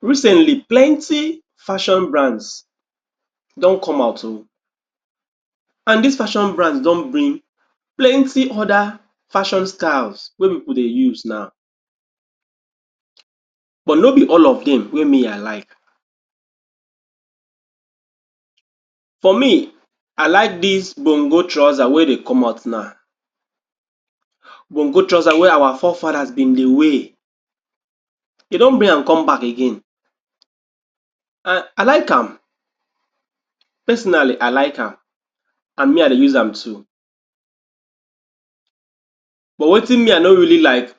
Recently, plenty fashion brands don come out oh, an dis fashion brands don bring plenty other fashion styles wey pipu dey use now, but no be all of dem wey me I like. For me, I like dis gbongo trousers wey dey come out nau. Gbongo trouser wey our fore fathers bin dey wear, de don bring an come back again. An I like am. Personally, I like am. An me I dey use am too. But wetin me I no really like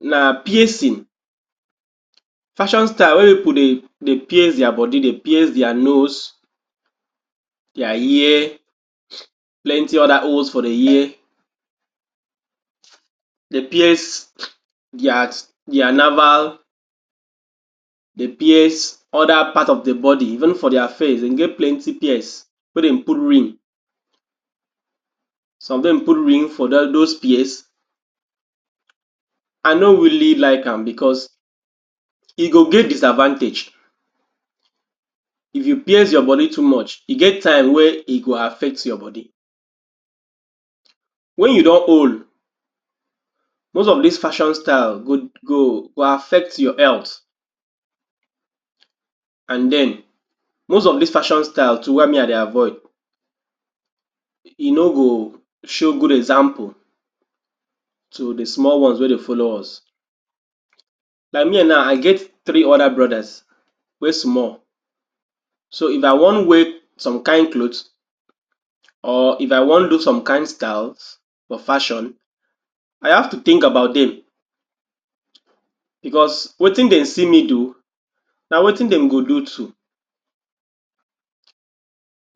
na piercing—fashion style wey pipu dey dey pierce dia bodi, dey pierce dia nose, dia ear, plenty other holes for di ear, de pierce dia dia naval, de pierce other part of di bodi. Even for dia face, dem get plenty pierce wey dem put ring. Some of dem put ring for dat dos pierce. I no really like am becos e go get disadvantage. If you pierce your bodi too much, e get time wey e go affect your bodi. Wen you don old, most of dis fashion style go go go affect your health. An then, most of dis fashion style too why me I dey avoid, e no go show good example to di small ones wey dey follow us. Like me nau, I get three other brothers wey small. So, if I wan wear some kain cloths or if I wan do some kain styles for fashion, I have to think about dem. Becos wetin den see me do, na wetin dem go do too.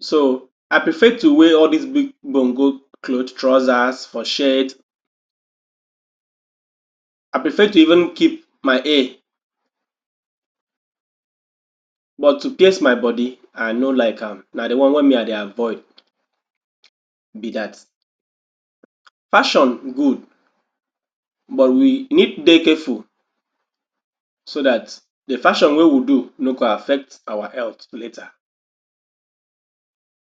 So, I prefer to wear all dis big gbongo cloth, trousers, or shade. I prefer to even keep my hair. But to pierce my bodi, I no like am. Na di one wey me I dey avoid be dat. Fashion good but we need dey careful so dat di fashion wey we do no go affect our health later.